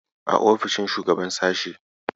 A ofishin shugaban sashe.